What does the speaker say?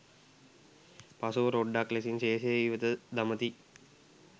පසුව රොඞ්ඩක් ලෙසින් ශේෂය ඉවත දමති